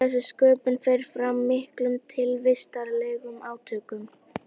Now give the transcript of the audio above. Og þessi sköpun fer fram í miklum tilvistarlegum átökum.